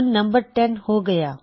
ਹੁਣ ਨੰਬਰ 10 ਹੋ ਗਇਆ